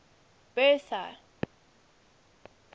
bertha